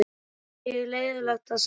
Það var ekki leiðinlegt að sækja þær.